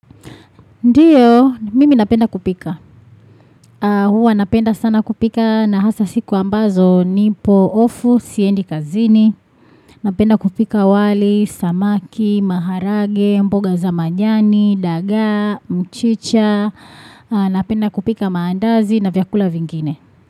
Ndio, mimi napenda kupika. Huwa napenda sana kupika na hasa siku ambazo nipo, ofu, siendi kazini. Napenda kupika wali, samaki, maharage, mboga za manjani, daga, mchicha. Napenda kupika maandazi na vyakula vingine.